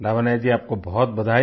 लावण्या जी आपको बहुत बधाई